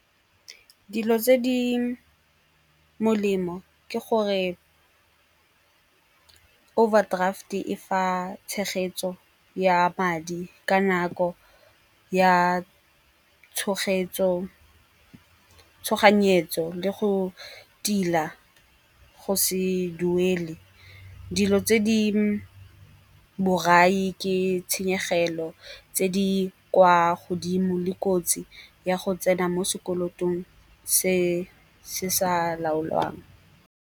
Dilo tse di molemo ke gore overdraft-e E fa tshegetso ya madi ka nako ya tshoganyetso le go tila go se duele. Dilo tse di borai ke tshenyegelo tse di kwa godimo le kotsi ya go tsena mo sekolotong se se sa laolwang.